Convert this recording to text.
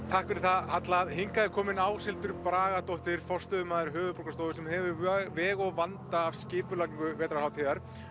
takk fyrir það Halla hingað er komin Áshildur Bragadóttir forstöðumaður Höfuðborgarstofu sem hefur veg og vanda af skipulagningu vetrarhátíðar